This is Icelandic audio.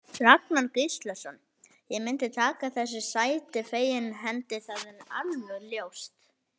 Þjálfarinn: Ragnar Gíslason: Ég myndi taka þessu sæti fegins hendi, það er alveg ljóst.